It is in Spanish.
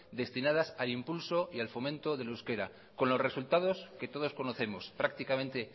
destinadas al impulso y al fomento del euskera con los resultados que todos conocemos prácticamente